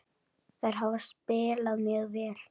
Þær hafa spilað mjög vel.